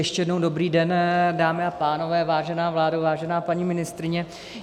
Ještě jednou dobrý den, dámy a pánové, vážená vládo, vážená paní ministryně.